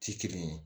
Ti kelen ye